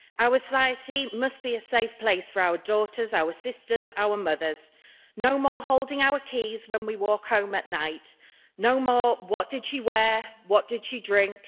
Our society must be a safe place for our daughters, our sisters, our mothers. No more holding our keys when we walk home at night, no more what did she wear, what did she drink?'